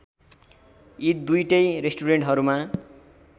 यी दुईटै रेस्टुरेन्टहरूमा